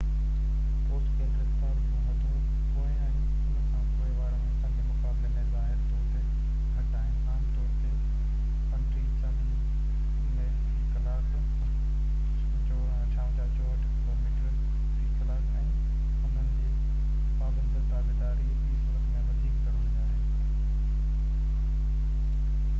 post ڪيل رفتار جون حدون پوئين ۽ ان کان پوءِ وارن حصن جي مقابلي ۾ ظاهري طور تي گهٽ آهن — عام طور تي 35-40 ميل في ڪلاڪ 56-64 ڪلوميٽر في ڪلاڪ —۽ انهن جي پابند تابعداري ٻي صورت ۾ وڌيڪ ضروري آهي